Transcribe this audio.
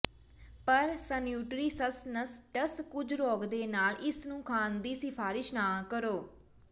ਪਰ ਸਨਉਟਰੀਸਸਨਸਟਸ ਕੁਝ ਰੋਗ ਦੇ ਨਾਲ ਇਸ ਨੂੰ ਖਾਣ ਦੀ ਸਿਫਾਰਸ਼ ਨਾ ਕਰੋ